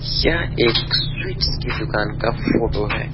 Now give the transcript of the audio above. यह एक स्वीट्स की दुकान का फोटो है।